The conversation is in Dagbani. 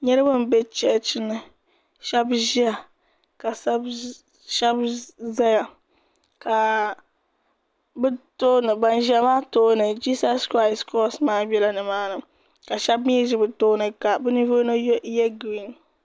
Niriba m be cheche ni sheba ʒia ka sheba zaya ka ban ʒɛya maa tooni jises kras kurosi maa bela nimaani ka sheba mee ʒi bɛ tooni ka bɛ ninvuɣu yino ye girin.